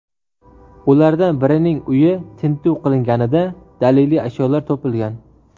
Ulardan birining uyi tintuv qilinganida daliliy ashyolar topilgan.